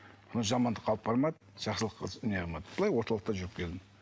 но жамандыққа алып бармады жақсылық не қылмады былай орталықта жүріп келдім